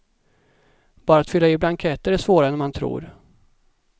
Bara att fylla i blanketter är svårare än man tror.